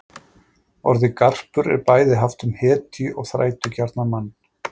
Orðið garpur er bæði haft um hetju og þrætugjarnan mann.